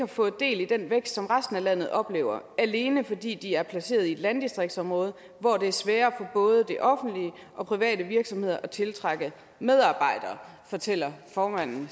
fået del i den vækst som resten af landet oplever alene fordi de er placeret i et landdistriktsområde hvor det er sværere for både det offentlige og private virksomheder at tiltrække medarbejdere fortæller formand